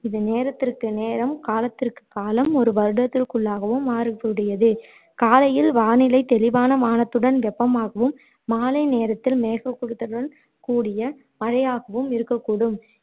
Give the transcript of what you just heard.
இது நேரத்திற்கு நேரம் காலத்திற்கு காலம் ஒரு வருடத்திற்குள்ளாகவே மாறக்கூடியது காலையில் வானிலை தெளிவான வானத்துடன் வெப்பமாகவும் மாலை நேரத்தில் மேககூட்டத்துடன் கூடிய மழையாகவும் இருக்கூடும்